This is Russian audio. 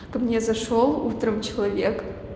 ко мне зашёл утром человек